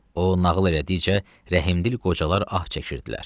O nağıl elədikcə, rəhimdil qocalar ah çəkirdilər.